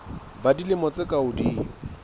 ba dilemo tse ka hodimo